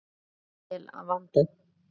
Alltaf vel vandað.